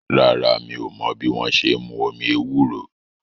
Rárá, mi ò mọ́ bí wọ́n ṣe n mú omi ewúro